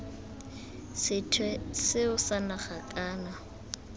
sethwe seo sa naga kana